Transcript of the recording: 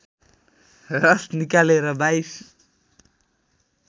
रस निकालेर २२